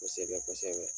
Kosɛbɛ kosɛbɛ